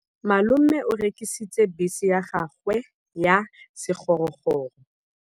Malome o rekisitse bese ya gagwe ya sekgorokgoro.